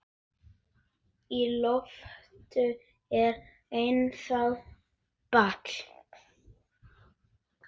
Í loftinu er ennþá ball.